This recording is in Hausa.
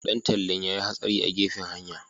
Dan tallen ya yi hatsari a gefen hanya.